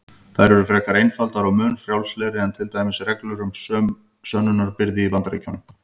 Þær eru frekar einfaldar og mun frjálslegri en til dæmis reglur um sönnunarbyrði í Bandaríkjunum.